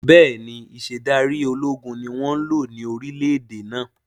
Bẹ́ẹ̀ni, Ìṣedárí ológun ni wọn ń lò ní orílẹ̀ èdè náà